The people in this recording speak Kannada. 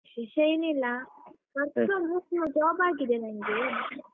ವಿಶೇಷ ಏನಿಲ್ಲ work from home job ಆಗಿದೆ ನನ್ಗೆ.